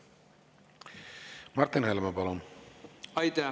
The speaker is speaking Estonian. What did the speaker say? Martin Helme, palun!